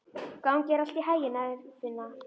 Gangi þér allt í haginn, Eirfinna.